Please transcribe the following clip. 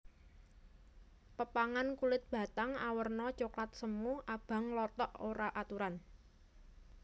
Pepagan kulit batang awerna coklat semu abang nglothok ora aturan